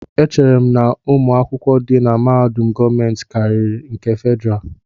Echere m na ụmụ akwụkwọ di na mahadum gọọmentị karịri nke Fedrá